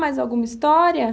Mais alguma história?